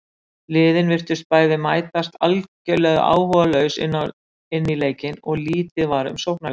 Liðin virtust bæði mætast algjörlega áhugalaus inní leikinn og lítið var um sóknarleik.